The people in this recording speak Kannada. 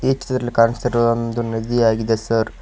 ಈ ಚಿತ್ರದಲ್ಲಿ ಕಾಣುತ್ತಿರುವೊಂದು ಕಾಣುತ್ತಿರುವುದು ಒಂದು ನದಿಯಾಗಿದೆ ಸರ್ .